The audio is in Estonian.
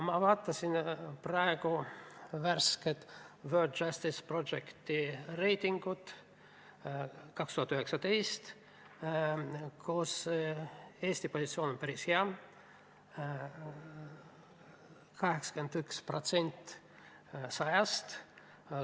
Ma vaatasin praegu värsket World Justice Projecti reitingut , mille järgi Eesti positsioon on päris hea: 81% 100-st.